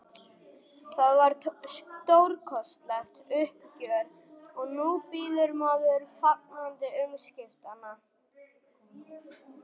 Það var stórkostlegt uppgjör og nú bíður maður fagnandi umskiptanna.